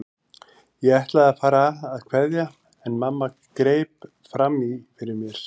Ég ætlaði að fara að kveðja en mamma greip fram í fyrir mér.